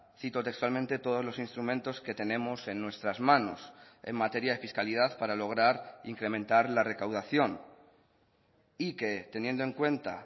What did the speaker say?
cito textualmente todos los instrumentos que tenemos en nuestras manos en materia de fiscalidad para lograr incrementar la recaudación y que teniendo en cuenta